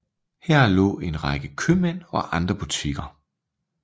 Her lå en række købmænd og andre butikker